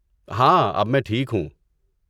ہاں، اب میں ٹھیک ہوں۔